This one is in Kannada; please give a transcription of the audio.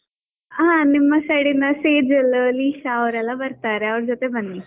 ಹಾ ನಿಮ್ side ಇಂದಾ ಸೇಜಾಲ್, ಲೀಶ ಅವರೆಲ್ಲ ಬರ್ತಾರೆ ಅವರ್ ಜೊತೆ ಬನ್ನಿ.